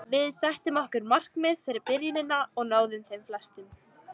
Við settum okkur markmið fyrir byrjunina og náðum þeim flestum.